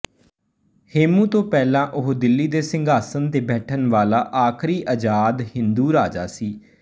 ਹੇਮੂ ਤੋਂ ਪਹਿਲਾਂ ਉਹ ਦਿੱਲੀ ਦੇ ਸਿੰਘਾਸਨ ਤੇ ਬੈਠਣ ਵਾਲਾ ਆਖਰੀ ਆਜ਼ਾਦ ਹਿੰਦੂ ਰਾਜਾ ਸੀ